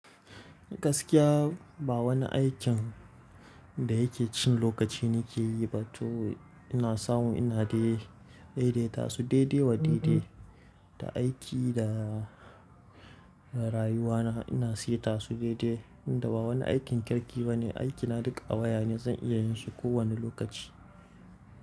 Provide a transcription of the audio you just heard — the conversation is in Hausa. Gaskiya ba wani aikin da yake cin lokaci ni ke yi ba to ina samu ina dai-dai ta su daidai wa daidai. Da aiki da rayuwa na ina saita su daidai inda ba wani aikin kirki ba ne. Aiki na duk a waya ne zan iya yin shi ko wanne lokaci.